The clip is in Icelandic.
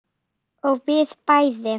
Og við bæði.